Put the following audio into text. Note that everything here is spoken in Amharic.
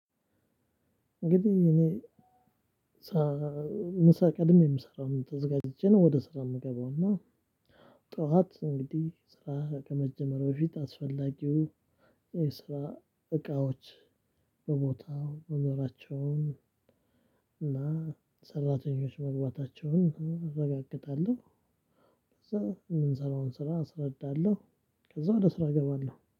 እንግዲህ እኔ ምሳ ቀድሜ ነው የምሰራው እኔ ተዘጋጅቼ ነው ወደ ስራ የምገባው። እና ጠዋት እንግዲህ ስራ ከመጀመሩ በፊት አስፈላጊው የስራ እቃዎች በቦታው መኖራቸውን እና ሰራተኞች መግባታቸውን አረጋግጣለሁ። ከዛ የምንሰራውን ስራ አስረዳለሁ። ከዛ ወደ ስራ እገባለሁ